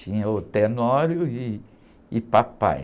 Tinha o Tenório ih, e papai.